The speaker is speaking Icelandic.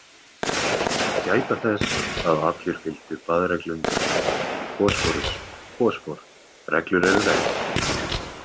Að gæta þess að allir fylgdu baðreglum, phosphorus - fosfór: Reglur eru reglur.